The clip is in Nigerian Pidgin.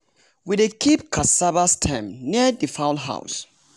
we dey keep cassava stem near the fowl house.